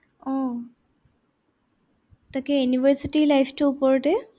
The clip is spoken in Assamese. আহ তাকে university life টোৰ ওপৰতে।